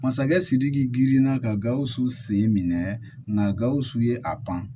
Masakɛ sidiki girinna ka gawusu sen minɛ nka gawusu ye a pan